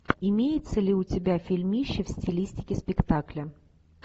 имеется ли у тебя фильмище в стилистике спектакля